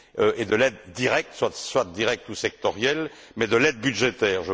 et de l'aide directe, soit directe ou sectorielle, mais de l'aide budgétaire.